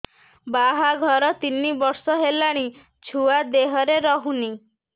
ବାହାଘର ତିନି ବର୍ଷ ହେଲାଣି ଛୁଆ ଦେହରେ ରହୁନି